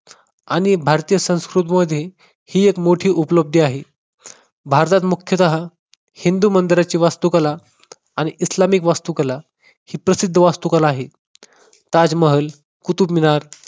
आणि भारतीय संस्कृतीमधील ही मोठी एक मोठी उपलब्धी आहे. भारतात मुख्यतः हिंदू मंदिरांची वास्तुकला आणि इस्लामिक वास्तुकला ही प्रसिद्ध वास्तू कला आहे. ताजमहल, कुतुबमिनार